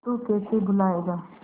तू कैसे भूलाएगा